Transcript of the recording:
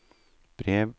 brev